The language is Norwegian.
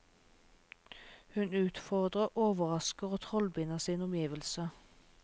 Hun utfordrer, overrasker og trollbinder sine omgivelser.